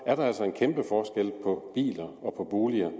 er der altså en kæmpe forskel på biler og på boliger